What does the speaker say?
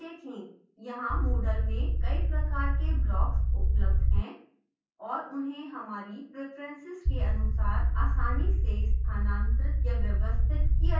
यहाँ moodle में कई प्रकार के blocks उपलब्ध हैं और उन्हें हमारी प्रिफेंसेस के अनुसार आसानी से स्थानांतरित या व्यवस्थित किया जा सकता है